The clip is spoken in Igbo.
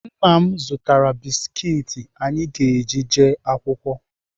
Nna m zụtara biskit anyị ga-eji eje akwụkwọ.